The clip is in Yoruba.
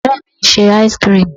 Ore mi ń ṣe áísíkrimù.